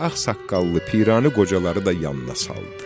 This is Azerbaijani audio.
Ağsaqqallı, pirani qocaları da yanına saldı.